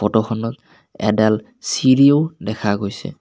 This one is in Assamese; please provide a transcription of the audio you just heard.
ফটো খনত এডাল চিৰিও দেখা গৈছে।